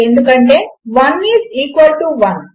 ఎందుకంటే 1 is equal to 1